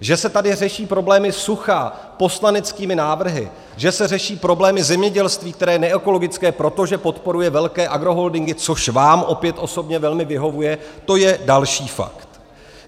Že se tady řeší problémy sucha poslaneckými návrhy, že se řeší problémy zemědělství, které je neekologické, protože podporuje velké agroholdingy, což vám opět osobně velmi vyhovuje, to je další fakt.